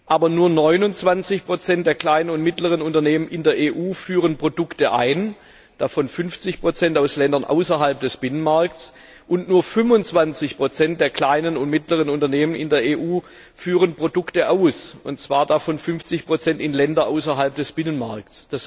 Aber nur 29 der kleinen und mittleren Unternehmen in der EU führen Produkte ein, davon 50 aus Ländern außerhalb des Binnenmarkts, und nur 25 der kleinen und mittleren Unternehmen in der EU führen Produkte aus, davon 50 in Länder außerhalb des Binnenmarkts.